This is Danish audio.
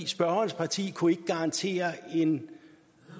spørgerens parti kunne ikke garantere en